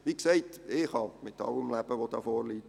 Wie gesagt, ich kann mit allem leben, was hier vorliegt.